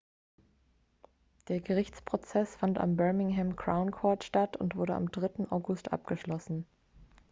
der gerichtsprozess fand am birmingham crown court statt und wurde am 3. august abgeschlossen